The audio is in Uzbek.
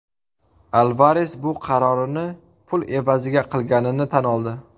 Alvares bu qarorini pul evaziga qilganini tan oldi.